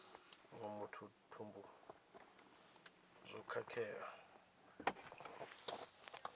muṅwe muthu thumbu zwo khakhea